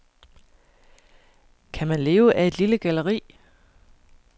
Kan man leve af et lille galleri?